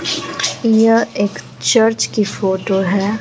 यह एक चर्च की फोटो है।